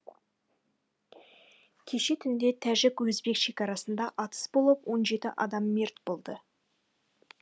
кеше түнде тәжік өзбек шекарасында атыс болып он жеті адам мерт болды